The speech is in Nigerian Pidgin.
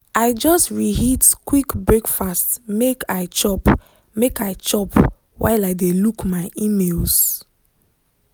i just reheat quick breakfast make i chop make i chop while i dey look my emails.